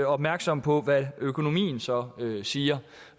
opmærksom på hvad økonomien så siger